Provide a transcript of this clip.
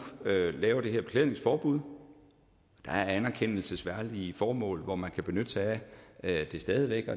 laver det her beklædningsforbud der er anerkendelsesværdige formål hvor man kan benytte sig af det stadig væk og